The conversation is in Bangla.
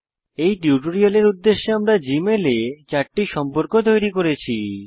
এই টিউটোরিয়ালের উদ্দেশ্যে আমরা জীমেলে চারটি সম্পর্ক তৈরি করেছি